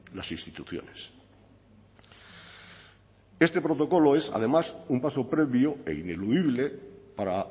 las instituciones este protocolo es además un paso previo e ineludible para